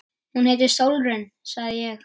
Hún heitir Sólrún, sagði ég.